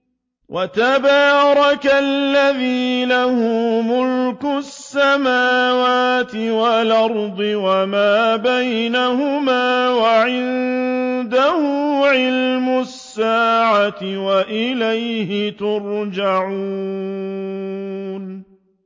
وَتَبَارَكَ الَّذِي لَهُ مُلْكُ السَّمَاوَاتِ وَالْأَرْضِ وَمَا بَيْنَهُمَا وَعِندَهُ عِلْمُ السَّاعَةِ وَإِلَيْهِ تُرْجَعُونَ